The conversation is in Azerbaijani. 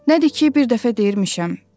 Nədir ki, bir dəfə deyirmişəm.